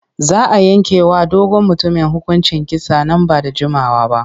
Za a yanke wa dogon mutumin hukuncin kisa nan ba da jimawa ba.